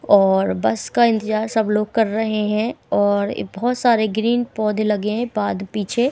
और बस का इंतजार सब लोग कर रहे है और ये बहोत सारे ग्रीन पौधे लगे है बाद पीछे--